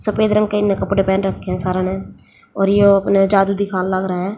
सफेद रंग के इन्हें कपड़े पहन रखे हैं सारे ने और ये अपने जादू दिखान लाग रहे हैं।